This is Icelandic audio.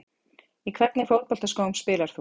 Í hvernig fótboltaskóm spilar þú?